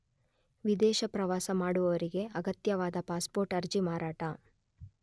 ವಿದೇಶ ಪ್ರವಾಸ ಮಾಡುವವರಿಗೆ ಅಗತ್ಯವಾದ ಪಾಸ್ಪೋರ್ಟ್ ಅರ್ಜಿ ಮಾರಾಟ